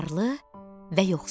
Varlı və yoxsul.